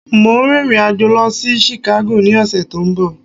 Mo ń rìnrìn àjò Lọ sí Chicago ní ọ̀sẹ̀ to ń bo